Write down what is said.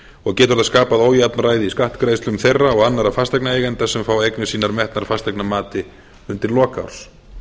og getur það skapað ójafnræði í skattgreiðslum þeirra og annarra fasteignaeigenda sem fá eignir sínar metnar fasteignamati undir lok árs